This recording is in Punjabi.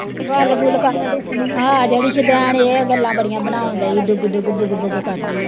ਗੱਲ ਗੁੱਲ ਕਾਹਦੀ ਦੱਸਣੀ, ਆਹ ਜਿਹੜੀ ਸ਼ੁਦੈਨ ਏਹ ਗੱਲਾਂ ਬੜੀਂਆ ਬਣਉਣ ਡਈ ਡੁਗ ਡੁਗ ਦੁਗ ਦੁਗ ਕਰਦੀ ਐ